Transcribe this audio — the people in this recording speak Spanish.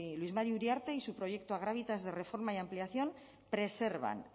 luis mari uriarte y su proyecto agravitas de reforma y ampliación preservan